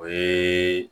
O ye